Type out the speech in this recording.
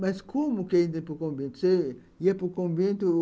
Mas como que a gente ia para o convento? Você ia para o convento...?